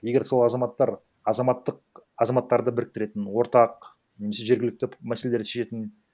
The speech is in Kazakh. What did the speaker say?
егер сол азаматтар азаматтық азаматтарды біріктіретін ортақ немесе жергілікті мәселелерді шешетін